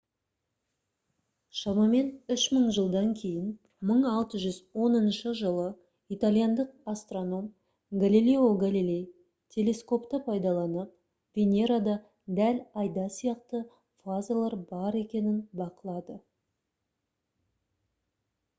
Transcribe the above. шамамен үш мың жылдан кейін 1610 жылы итальяндық астроном галилео галилей телескопты пайдаланып венерада дәл айда сияқты фазалар бар екенін бақылады